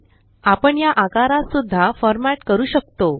एलटीपॉजेग्ट आपण या आकारास सुद्धा फॉरमॅट करू शकतो